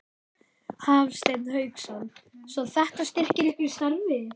Hafsteinn Hauksson: Svo þetta styrkir ykkur í ykkar starfi?